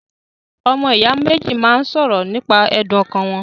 Ọmọ ìyá méjì máa ń ṣọ̀rọ̀ nípa ẹ̀dùn ọkàn wọn.